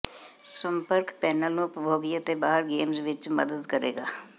ਸੰਪਰਕ ਪੈਨਲ ਨੂੰ ਉਪਭੋਗੀ ਅਤੇ ਬਾਹਰ ਗੇਮਜ਼ ਵਿੱਚ ਮਦਦ ਕਰੇਗਾ